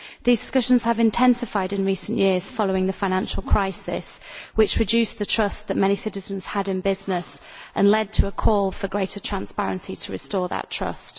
These discussions have intensified in recent years following the financial crisis, which reduced the trust which many citizens had in business and led to a call for greater transparency to restore that trust.